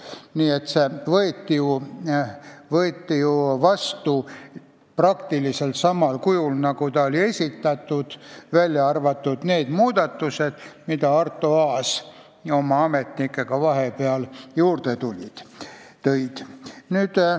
Nii et see eelnõu võeti seadusena vastu peaaegu samal kujul, nagu ta oli esitatud, välja arvatud need muudatused, mida Arto Aas oma ametnikega vahepeal juurde tõi.